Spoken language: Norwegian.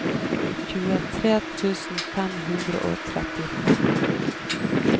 tjuetre tusen fem hundre og trettifem